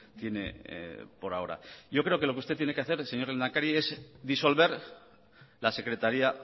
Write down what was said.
tiene por ahora yo creo que lo que usted tiene que hacer señor lehendakari es disolver la secretaría